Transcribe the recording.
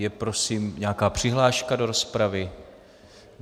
Je prosím nějaká přihláška do rozpravy?